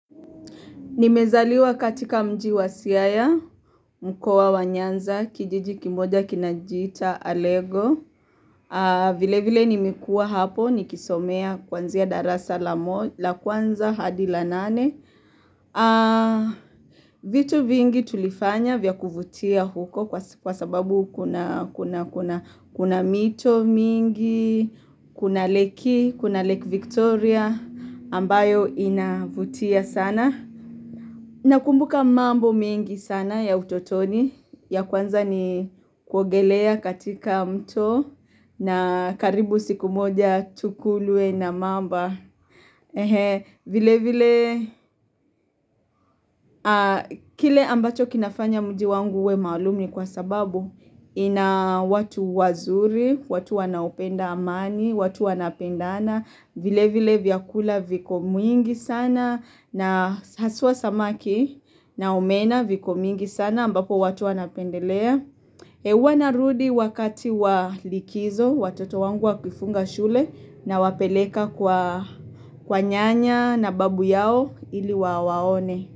Nimezaliwa katika mji wa siaya, mkoa wa nyanza, kijiji kimoja kinajiita, alego, vile vile nimekuwa hapo, nikisomea kwanzia darasa la kwanza hadi la nane. Vitu vingi tulifanya vya kuvutia huko kwa sababu kuna mito mingi, kuna lake, kuna lake Victoria ambayo inavutia sana. Na kumbuka mambo mengi sana ya utotoni, ya kwanza ni kuogelea katika mto na karibu siku moja tukulwe na mamba. Vile vile, kile ambacho kinafanya mji wangu uwe maalum ni kwa sababu, ina watu wazuri, watu wanaopenda amani, watu wanapendana. Vile vile vyakula viko mwingi sana na haswa samaki na omena viko mingi sana ambapo watu wa napendelea. Huwa narudi wakati wa likizo watoto wangu wakifunga shule nawapeleka kwa nyanya na babu yao ili wawaone.